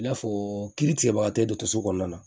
I n'a fɔ kiiri tigɛbagatɔ ye dɔgɔtɔrɔso kɔnɔna na